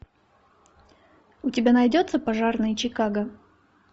у тебя найдется пожарные чикаго